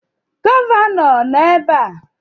Gọvanọ nọ ebe a?